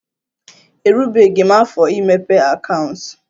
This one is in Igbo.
Erubeghi m afọ imepe akaụntụ